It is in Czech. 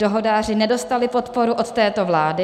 Dohodáři nedostali podporu od této vlády.